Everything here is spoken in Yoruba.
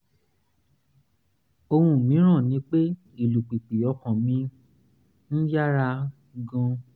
ohun mìíràn ni pé ìlùpìpì ọkàn mi ń um yára gan-an